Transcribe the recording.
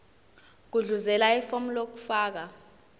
gudluzela ifomu lokufaka